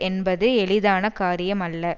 என்பது எளிதான காரியமல்ல